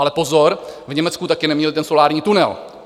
Ale pozor, v Německu také neměli ten solární tunel.